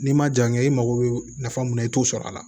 N'i ma ja n ye i mago bɛ nafa mun na i t'o sɔrɔ a la